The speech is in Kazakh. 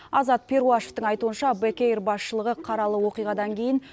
азат перуашевтің айтуынша бек эйр басшылығы қаралы оқиғадан кейін